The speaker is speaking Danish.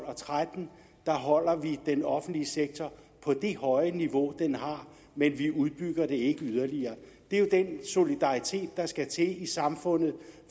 og tretten holder den offentlige sektor på det høje niveau den har men vi udbygger den ikke yderligere det er jo den solidaritet der skal til i samfundet